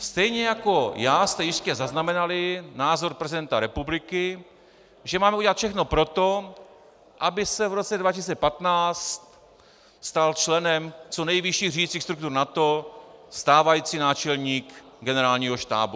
Stejně jako já jste jistě zaznamenali názor prezidenta republiky, že máme udělat všechno pro to, aby se v roce 2015 stal členem co nejvyšších řídicích struktur NATO stávající náčelník generálního štábu.